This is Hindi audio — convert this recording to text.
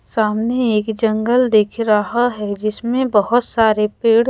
सामने एक जंगल दिख रहा हैं जिसमे बहुत सारे पेड़--